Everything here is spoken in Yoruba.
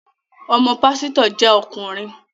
Ọmọ pásítọ̀ jẹ́ ọkùnrin